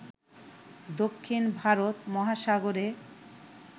দক্ষিণ ভারত মহাসাগরে